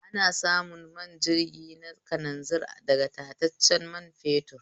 Ana samun man girki na kalanzir daga tataccen man fetur